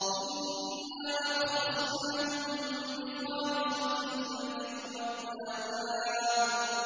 إِنَّا أَخْلَصْنَاهُم بِخَالِصَةٍ ذِكْرَى الدَّارِ